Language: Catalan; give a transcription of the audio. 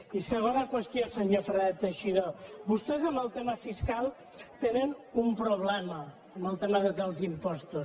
i segona qüestió senyor fernández teixidó vostès amb el tema fiscal tenen un problema amb el tema dels impostos